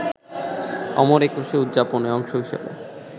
অমর একুশে উদযাপনের অংশ হিসেবে